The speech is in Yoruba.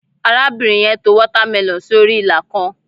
arabinrin yen to watermelon sí orí ila kan